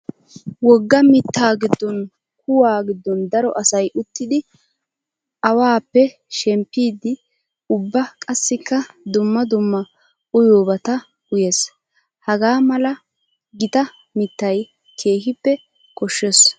Wogga mitta gidon kuwa gidon daro asay uttiddi aawappe shemppiddi ubba qassikka dumma dumma uyiyobatta uyees. Haga mala gita mittay keehippe koshees.